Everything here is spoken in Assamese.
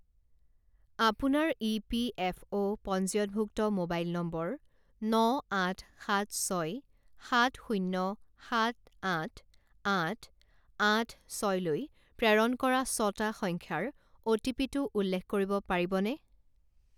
আপোনাৰ ইপিএফঅ' পঞ্জীয়নভুক্ত মোবাইল নম্বৰ ন আঠ সাত ছয় সাত শূণ্য সাত আঠ আঠ আঠ ছয়লৈ প্ৰেৰণ কৰা ছটা সংখ্যাৰ অ’টিপিটো উল্লেখ কৰিব পাৰিবনে?